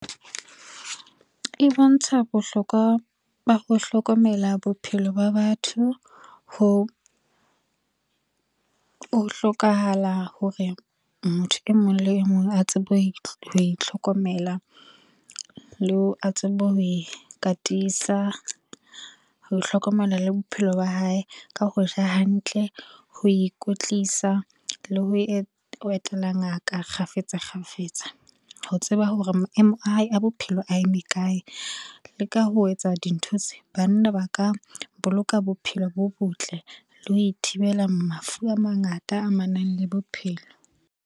E bontsha bohlokwa ba ho hlokomela bophelo ba batho, ho hlokahala hore motho e mong le e mong a tsebe ho itlhokomela, a tsebe le ho ikatisa, ho hlokomela le bophelo ba hae ka ho ja hantle, ho ikwetlisa le ho etela ngaka kgafetsa kgafetsa ho tseba hore maemo a hae a bophelo a eme kae. Le ka ho etsa dintho tse banna ba ka boloka bophelo bo botle le ho ithibela mafu a mangata a amanang le bophelo.